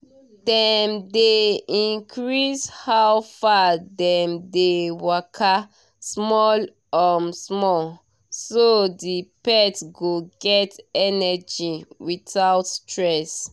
dem dey increase how far dem dey waka small um small so the pet go get energy without stress